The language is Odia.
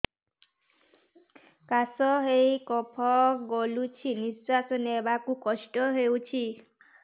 କାଶ ହେଇ କଫ ଗଳୁଛି ନିଶ୍ୱାସ ନେବାକୁ କଷ୍ଟ ହଉଛି